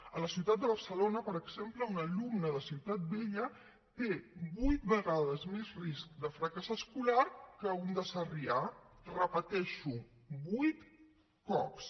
a la ciutat de barcelona per exemple un alumne de ciutat vella té vuit vegades més risc de fracàs escolar que un de sarrià ho repeteixo vuit cops